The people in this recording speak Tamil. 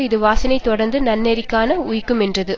இது வாசனை தொடர்ந்து நன்னெறிக்கண் உய்க்குமென்றது